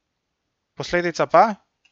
Posledica pa?